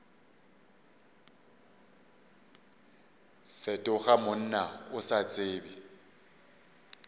fetoga monna o sa tsebe